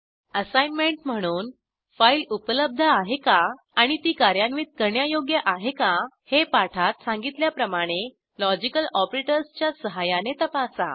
assignment म्हणून file उपलब्ध आहे का आणि ती कार्यान्वित करण्यायोग्य आहे का हे पाठात सांगितल्याप्रमाणे लॉजिकल ऑपरेटर्सच्या सहाय्याने तपासा